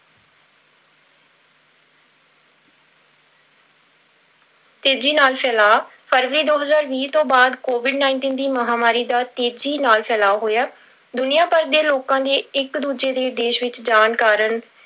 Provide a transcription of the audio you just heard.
ਤੇਜੀ ਨਾਲ ਫੈਲਾਅ, ਫਰਵਰੀ ਦੋ ਹਜ਼ਾਰ ਵੀਹ ਤੋਂ ਬਾਅਦ covid nineteen ਦੀ ਮਹਾਂਮਾਰੀ ਦਾ ਤੇਜ਼ੀ ਨਾਲ ਫੈਲਾਅ ਹੋਇਆ, ਦੁਨੀਆ ਭਰ ਦੇ ਲੋਕਾਂ ਦੇ ਇੱਕ ਦੂਜੇ ਦੇ ਦੇਸ ਵਿੱਚ ਜਾਣ ਕਾਰਨ